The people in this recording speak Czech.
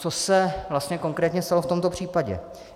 Co se vlastně konkrétně stalo v tomto případě?